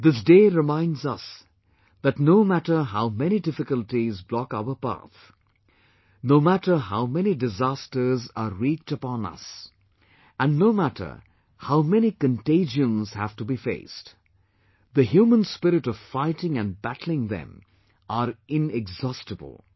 This day reminds us that no matter how many difficulties block our path, no matter how many disasters are wreaked upon us and no matter how many contagions have to be faced the human spirit of fighting and battling them are inexhaustible